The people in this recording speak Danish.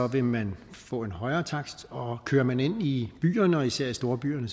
vil man få en højere takst og kører man ind i byerne og især i storbyerne